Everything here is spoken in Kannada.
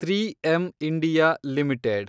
(three M India limited